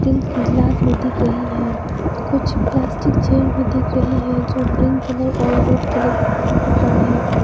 Steel की गिलास भी दिख रही है कुछ प्लास्टिक चेयर भी दिख रही है जो ग्रीन कलर और रेड कलर पर है।